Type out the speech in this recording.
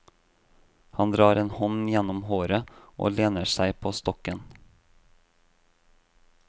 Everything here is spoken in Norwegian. Han drar en hånd gjennomhåret, og lener seg på stokken.